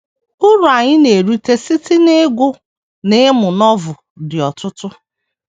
Uru anyị na - erite site n’ịgụ na ịmụ Novel dị ọtụtụ.